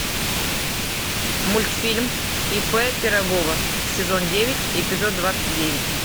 мультфильм ип пирогова сезон девять эпизод двадцать девять